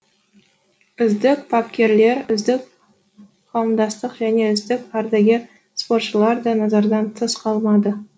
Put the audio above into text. үздік бапкерлер үздік қауымдастық және үздік ардагер спортшылар да назардан тыс қалмады